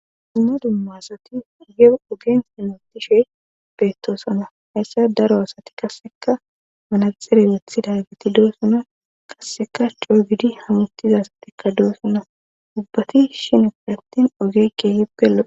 Dumma asati ge ogen sinotishe beettoosana hayssa daro asati kasseka manaxere wethida giti doosuna kasseka coo gidi hamutiza asatikka doessona ubbati shinpielattin ogeeke hipelo.